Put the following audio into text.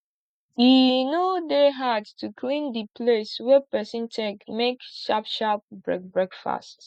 e no dey hard to clean di place wey person take make sharp sharp break break fast